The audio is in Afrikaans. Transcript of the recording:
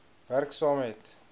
werk saam met